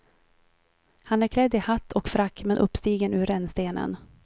Han är klädd i hatt och frack men uppstigen ur rännstenen.